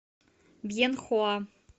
бьенхоа